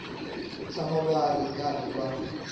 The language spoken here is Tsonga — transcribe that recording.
tshama va ri karhi va